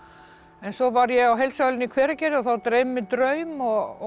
en svo var ég á heilsuhælinu í Hveragerði og þá dreymir mig draum og